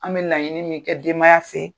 An' bɛ laɲini min kɛ denbaya fe